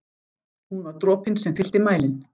Hún var dropinn sem fyllti mælinn.